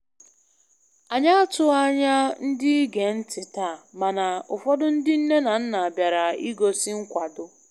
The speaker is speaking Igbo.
Anyị atụghị anya ndị ige ntị taa, mana ụfọdụ ndị nne na nna bịara ịgosị nkwado